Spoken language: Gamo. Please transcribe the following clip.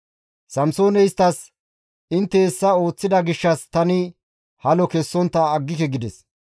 Samsooney isttas, «Intte hessa ooththida gishshas tani halo kessontta aggike» gides.